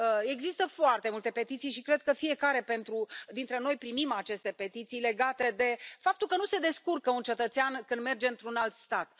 Există foarte multe petiții și cred că fiecare dintre noi primim aceste petiții legate de faptul că nu se descurcă un cetățean când merge într un alt stat.